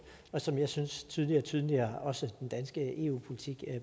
og som jeg synes tydeligere og tydeligere også den danske eu politik